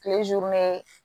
Kile